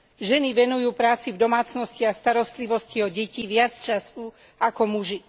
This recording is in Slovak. Ženy venujú práci v domácnosti a starostlivosti o deti viac času ako muži.